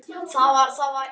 Gerðu það pabbi!